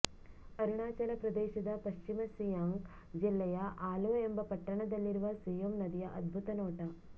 ಅರುಣಾಚಲ ಪ್ರದೇಶದ ಪಶ್ಚಿಮ ಸಿಯಾಂಗ್ ಜಿಲ್ಲೆಯ ಆಲೊ ಎಂಬ ಪಟ್ಟಣದಲ್ಲಿರುವ ಸಿಯೋಮ್ ನದಿಯ ಅದ್ಭುತ ನೋಟ